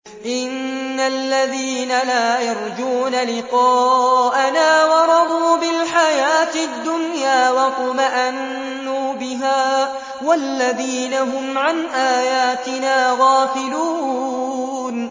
إِنَّ الَّذِينَ لَا يَرْجُونَ لِقَاءَنَا وَرَضُوا بِالْحَيَاةِ الدُّنْيَا وَاطْمَأَنُّوا بِهَا وَالَّذِينَ هُمْ عَنْ آيَاتِنَا غَافِلُونَ